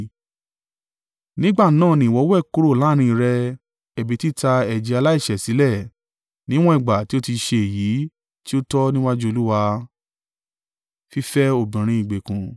Nígbà náà ni ìwọ wẹ̀ kúrò láàrín rẹ ẹ̀bi títa ẹ̀jẹ̀ aláìṣẹ̀ sílẹ̀, níwọ̀n ìgbà tí o ti ṣe èyí tí ó tọ́ níwájú Olúwa.